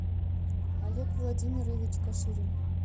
олег владимирович каширин